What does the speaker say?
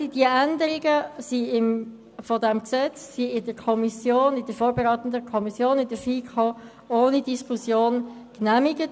Die Änderungen in diesem Gesetz wurden von der vorberatenden Kommission, der FiKo, diskussionslos genehmigt.